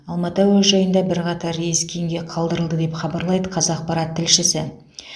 алматы әуежайында бірқатар рейс кейінге қалдырылды деп хабарлайды қазақпарат тілшісі